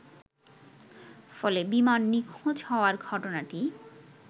ফলে বিমান নিখোঁজ হবার ঘটনাটি